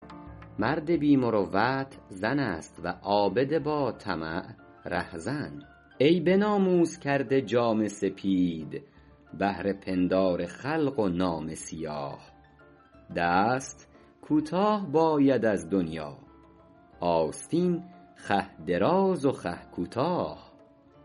مرد بی مروت زن است و عابد با طمع رهزن ای به ناموس کرده جامه سپید بهر پندار خلق و نامه سیاه دست کوتاه باید از دنیا آستین خوه دراز و خوه کوتاه